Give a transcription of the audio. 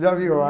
Já viu?